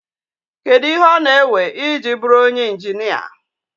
Kedu ihe ọ na-ewe iji bụrụ onye injinia?